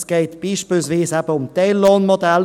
Es geht beispielsweise eben um Teillohnmodelle.